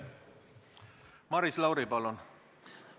Maris Lauri, palun!